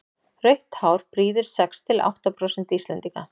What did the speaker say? rautt hár prýðir sex til átta prósent íslendinga